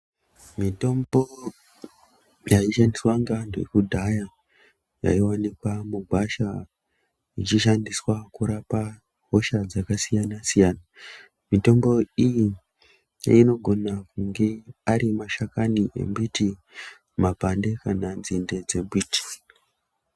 Mitombo yaishandiswa ngeanthu ekudhaya yaiwanikwa mugwasha ichishandiswa kurapa hosha dzakasiyana siyana mitombo inogona kunge ari mashakani embiti makwande kana tsinde dzembiti.